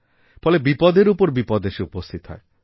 ফলে বিপদের ওপর বিপদ এসে উপস্থিত হয়